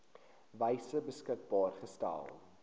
wyse beskikbaar gestel